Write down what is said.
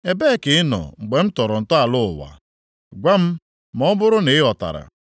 “Ebee ka ị nọ mgbe m tọrọ ntọala ụwa? Gwa m ma ọ bụrụ na ị ghọtara.